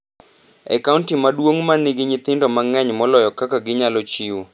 e kaonti maduong’ ma nigi nyithindo mang’eny moloyo kaka ginyalo chiwo.